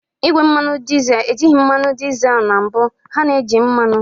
Igwe mmanụ dizel ejighị mmanụ dizel na mbụ, ha na-eji mmanụ